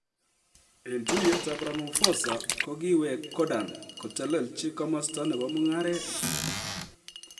Eng tuiyetab Ramaphosa , kokiwek Gordhan kotelechi komasta nebo mung'aret.